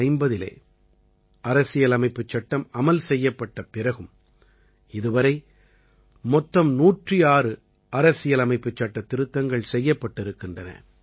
1950இலே அரசியலமைப்புச் சட்டம் அமல் செய்யப்பட்ட பிறகும் இதுவரை மொத்தம் 106 அரசியலமைப்புச் சட்டத் திருத்தங்கள் செய்யப்பட்டிருக்கின்றன